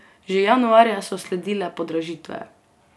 Že januarja so sledile podražitve.